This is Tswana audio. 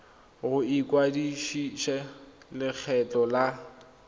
go ikwadisa le lekgotlha la